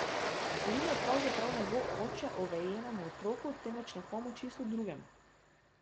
Rune pravzaprav ne bo oče Ovejevemu otroku, temveč nekemu čisto drugemu.